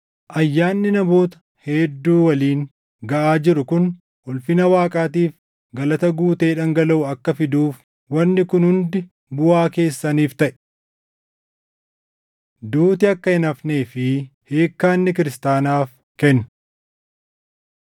Ayyaanni namoota hedduu waliin gaʼaa jiru kun ulfina Waaqaatiif galata guutee dhangalaʼu akka fiduuf wanni kun hundi buʼaa keessaniif taʼe. Duuti Akka Hin Hafnee fi Hiikkaa Inni Kiristaanaaf Kennu